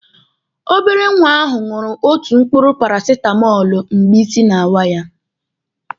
Obere nwa ahụ ṅụrụ otu mkpụrụ parasitamọlụ mgbe isi na-awọ ya.